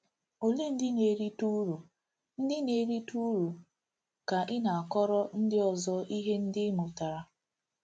Olee ndị na-erite uru ndị na-erite uru ka ị na-akọrọ ndị ọzọ ihe ndị ị mụtara?